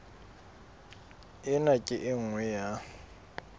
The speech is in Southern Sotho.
ena ke e nngwe ya